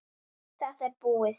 Þetta er búið.